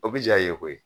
O bi ja i ye koyi